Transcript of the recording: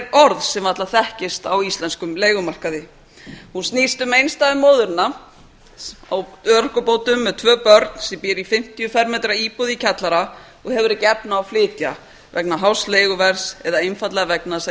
orð sem varla þekkist á íslenskum leigumarkaði hún snýst um einstæðu móðurina á örorkubótum með tvö börn sem býr í fimmtíu fermetra íbúð í kjallara og hefur ekki efni á að flytja vegna hás leiguverðs eða einfaldlega vegna þess að